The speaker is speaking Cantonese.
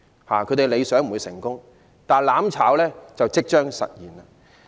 他們的理想不會成功，但"攬炒"就即將實現。